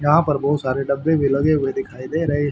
यहां पर बहुत सारे डब्बे भी लगे हुए दिखाई दे रहे--